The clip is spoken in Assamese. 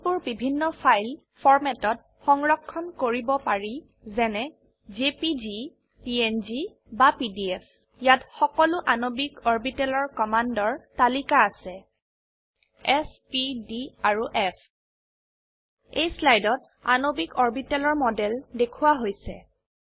ইমেজবোৰ বিভিন্ন ফাইল ফৰম্যাটত সংৰক্ষণ কৰিব পাৰি যেনে জেপিজি পিএনজি বা পিডিএফ ইয়াত সকলো আণবিক অৰবিটেলৰ কমান্ডৰ তালিকা আছে চ প ডি আৰু ফ এই স্লাইডত আণবিক অৰবিটেলৰ মডেল দেখোৱা হৈছে